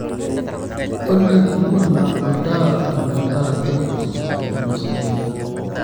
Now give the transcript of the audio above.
olly nkuna olntaa metaa kapuz tapasali